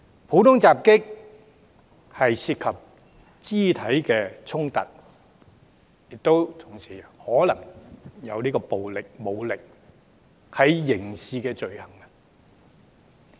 普通襲擊涉及肢體衝突，同時可能涉及暴力和武力，屬刑事罪行。